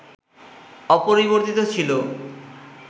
অপরিবর্তিত ছিল